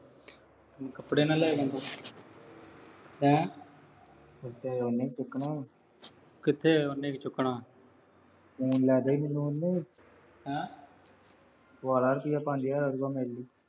ਕੱਪੜੇ ਨਾ ਲਿਆ ਦੀਂ ਤੂੰ। ਹੈਂ। ਖਰਚਾ ਉਹਨੇ ਹੀ ਚੁੱਕਣਾ। ਕਿੱਥੇ ਉਹਨੇ ਚੁੱਕਣਾ। ਹੈਂ। ਪਵਾ ਲਾ ਰੁਪਈਆ ਪੰਜ ਹਜ਼ਾਰ ਆਜੂ ਗਾ ਮੇਰੇ ਲਈ ਵੀ।